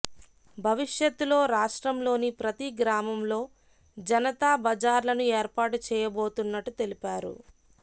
భవిష్యత్తులో రాష్ట్రంలోని ప్రతీ గ్రామంలో జనతా బజార్లను ఏర్పాటు చేయబోతున్నట్టు తెలిపారు